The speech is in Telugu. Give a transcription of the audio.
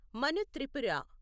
మను త్రిపుర